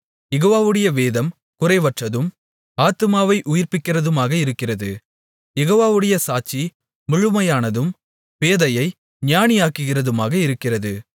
யெகோவாவுடைய வேதம் குறைவற்றதும் ஆத்துமாவை உயிர்ப்பிக்கிறதுமாக இருக்கிறது யெகோவாவுடைய சாட்சி முழுமையானதும் பேதையை ஞானியாக்குகிறதுமாக இருக்கிறது